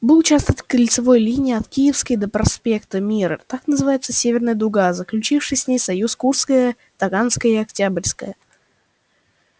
был участок кольцевой линии от киевской до проспекта мира так называемая северная дуга и заключившие с ней союз курская таганская и октябрьская